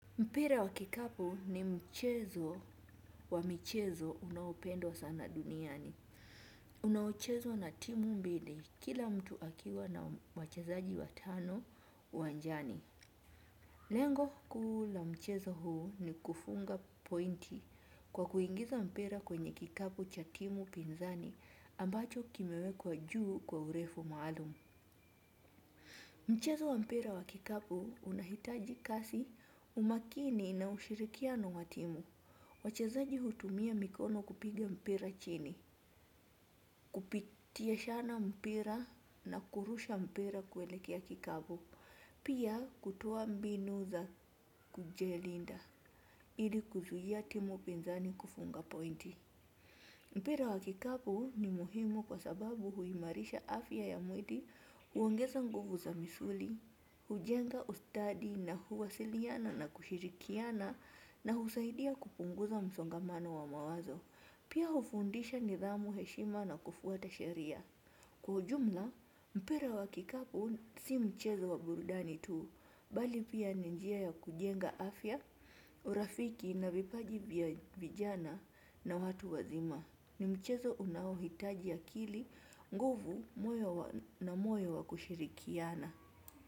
Mpira wa kikapu ni mchezo wa michezo unaopendwa sana duniani. Unaochezwa na timu mbili kila mtu akiwa na wachezaji watano uwanjani. Lengo kuu la mchezo huu ni kufunga pointi kwa kuingiza mpira kwenye kikapu cha timu pinzani ambacho kimewekwa juu kwa urefu maalumu. Mchezo wa mpira wa kikapu unahitaji kasi umakini na ushirikiano wa timu. Wachezaji hutumia mikono kupiga mpira chini, kupitishiana mpira na kurusha mpira kuelekea kikapu. Pia kutoa mbinu za kujilinda ili kuzuia timu pinzani kufunga pointi. Mpira wa kikapu ni muhimu kwa sababu huimarisha afya ya mwili huongeza nguvu za misuli, hujenga ustadi na huwasiliana na kushirikiana na husaidia kupunguza msongamano wa mawazo. Pia hufundisha nidhamu heshima na kufuata sheria. Kwa ujumla, mpira wa kikapu si mchezo wa burudani tuu, bali pia ni njia ya kujenga afya, urafiki na vipaji vya vijana na watu wazima. Ni mchezo unaohitaji akili, nguvu na moyo wa kushirikiana.